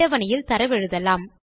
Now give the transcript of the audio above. அட்டவணையில் தரவெழுதலாம்